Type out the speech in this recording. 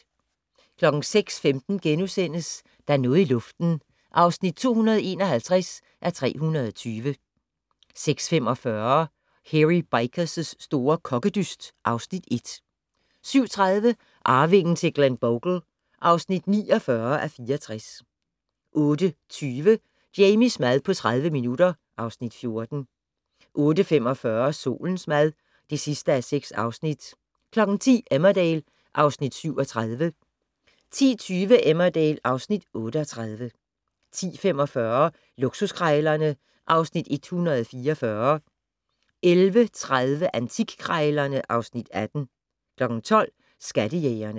06:15: Der er noget i luften (251:320)* 06:45: Hairy Bikers' store kokkedyst (Afs. 1) 07:30: Arvingen til Glenbogle (49:64) 08:20: Jamies mad på 30 minutter (Afs. 14) 08:45: Solens mad (6:6) 10:00: Emmerdale (Afs. 37) 10:20: Emmerdale (Afs. 38) 10:45: Luksuskrejlerne (Afs. 144) 11:30: Antikkrejlerne (Afs. 18) 12:00: Skattejægerne